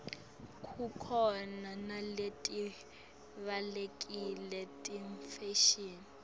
khukhona naletivalekile tefashini